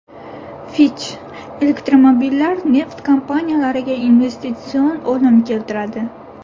Fitch: elektromobillar neft kompaniyalariga investitsion o‘lim keltiradi.